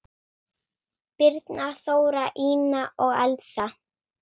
Birna, Þóra, Ína og Elsa.